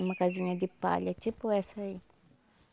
Numa casinha de palha, tipo essa aí.